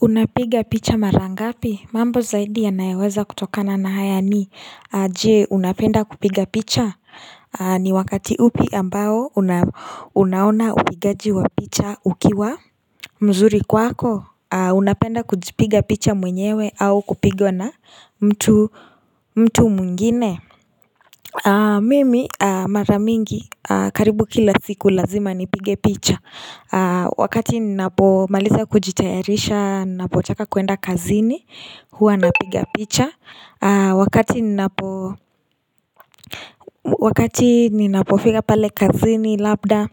Unapiga picha mara ngapi? Mambo zaidi yanayoweza kutokana na haya ni, je unapenda kupiga picha? Ni wakati upi ambao unaona upigaji wa picha ukiwa mzuri kwako? Unapenda kujipiga picha mwenyewe au kupigwa na mtu mtu mwingine? Mimi mara mingi karibu kila siku lazima nipige picha Wakati ninapomaliza kujitayarisha ninapotaka kuenda kazini huanapiga picha Wakati ninapofiga pale kazini labda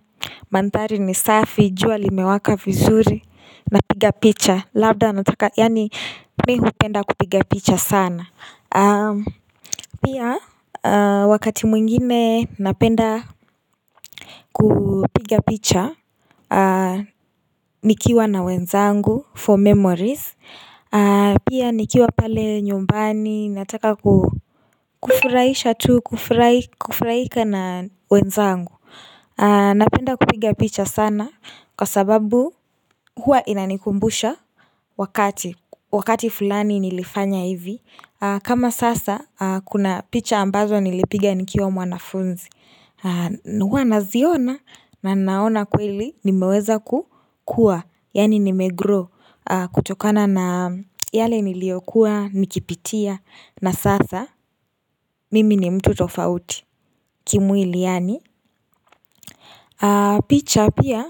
manthari ni safi jua limewaka vizuri napiga picha. Labda nataka yani mi hupenda kupiga picha sana Pia wakati mwingine napenda kupiga picha Nikiwa na wenzangu for memories Pia nikiwa pale nyumbani nataka kufurahisha tu Kufurahika na wenzangu. Napenda kupiga picha sana, Kwa sababu hua inanikumbusha wakati. Wakati fulani nilifanya hivi kama sasa kuna picha ambazo nilipiga nikiwa mwanafunzi, huwa naziona na naona kweli nimeweza kukua Yani nimegrow kutokana na yale niliokuwa nikipitia na sasa mimi ni mtu tofauti kimwili yani picha pia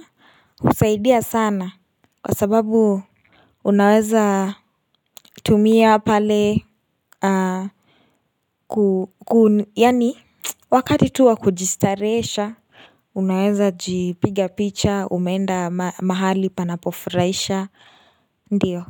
husaidia sana, Kwa sababu unaweza tumia pale Yani wakati tu wa kujistarehesha Unaweza jipiga picha umeenda mahali panapofuraisha, Ndiyo.